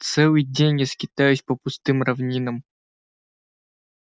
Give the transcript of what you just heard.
целый день я скитаюсь по пустым равнинам